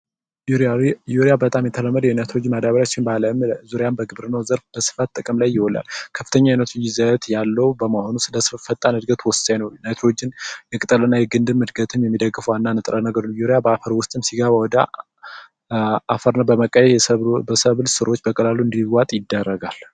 ዩሪያ በጣም የተለመደ የናይትሮጅን ማዳበረ ሲሆን በአለም ዙሪያ በግብርው ዘርፍ በስፋት ጥቅም ላይ ይውላል። ከፍተኛ የናይትሮጅን ይዘት ያለው በመሆኑ ለቅጠል እድገት ወሳኝ ነው። በአፈር ውስጥም ሲገባ ወደ አፈርነት በመቀየር በሰብል ስሮች ውስጥ በቀላሉ እንዲዋጥ ይደረጋል።